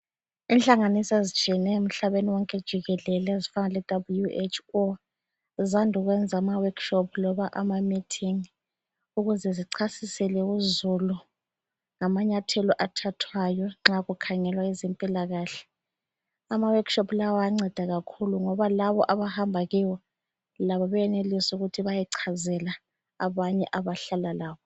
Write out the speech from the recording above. Inhlanganiso ezitshiyeneyo emhlabeni wonke jikelele ezifana leWHO zande ukwenza amaWorkshop loba amameeting ukuze zichasisele izulu ngamanyathelo athathwayo nxa okukhangelwa ngezempilakahle. AmaWorkshop lawa ayanceda kakhulu ngoba labo abahamba kiwo benelisa ukuba bayechazela abanye abahlala labo.